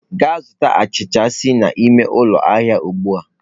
Gaa zụta achịcha si n'ememe ụlọ ahịa ugbu a!